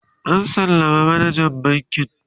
an sallama manajan bankin